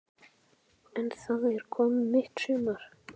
En það er komið mitt sumar!